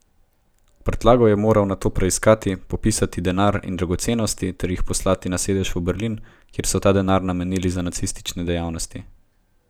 Prtljago je moral nato preiskati, popisati denar in dragocenosti ter jih poslati na sedež v Berlin, kjer so ta denar namenili za nacistične dejavnosti.